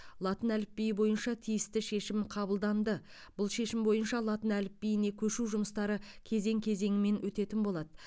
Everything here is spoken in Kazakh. латын әліпбиі бойынша тиісті шешім қабылданды бұл шешім бойынша латын әліпбиіне көшу жұмыстары кезең кезеңімен өтетін болады